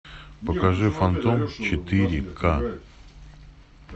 покажи фантом четыре ка